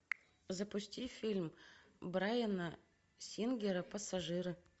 запусти фильм брайана сингера пассажиры